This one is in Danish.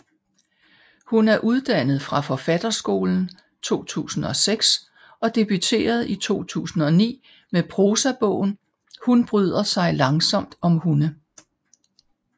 Hun er uddannet fra Forfatterskolen 2006 og debuterede i 2009 med prosabogen Hun bryder sig langsomt om hunde